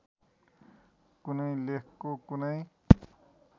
कुनै लेखको कुनै